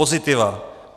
Pozitiva.